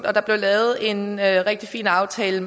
og der blev lavet en rigtig fin aftale